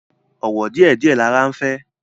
Ọ̀wọ̀ díẹ̀ díẹ̀ lara ń fẹ́